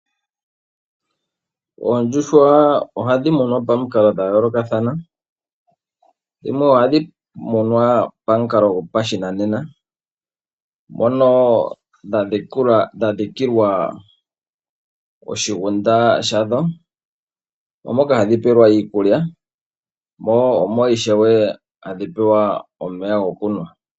Oondjuhwa ohadhi munwa pamikalo dhayoolokathana . Dhimwe ohadhi munwa pamukalo gopashinanena mono dhadhikilwa oshikuku shadho , ohadhi pelwamo iikulya nomeya gokunwa.